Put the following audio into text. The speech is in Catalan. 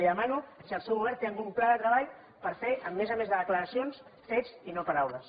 li demano si el seu govern té algun pla de treball per fer a més a més de declaracions fets i no paraules